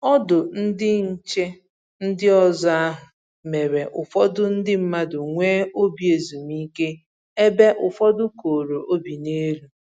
Ọdụ ndị nche ndị ọzọ ahụ mere ụfọdụ ndị mmadụ nwee obi ezumike ebe ụfọdụ koro obi n'elu